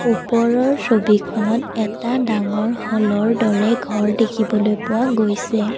ওপৰৰ ছবিখনত এটা ডাঙৰ হলৰ দৰে ঘৰ দেখিবলৈ পোৱা গৈছে।